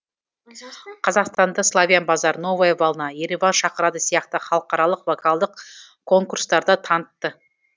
қазақстанды славян базар новая волна ереван шақырады сияқты халықаралық вокалдық конкурстарда танытты